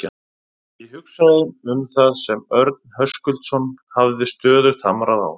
Ég hugsaði um það sem Örn Höskuldsson hafði stöðugt hamrað á.